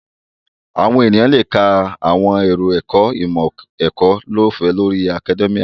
Àwọn èèyàn lè ka àwọn àròkọ ìmọ̀-ẹ̀kọ́ lọ́ọ̀fẹ́ lórí akadẹ́míà